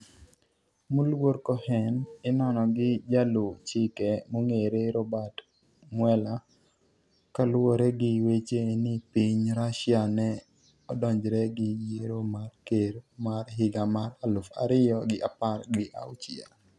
moluor Cohen inono gi jaluw chike mong'ere Robert Mueller kaluwore gi weche ni piny Russia ne odonjre gi yiero mar ker mar higa mar aluf ariyo gi apar gi auchiel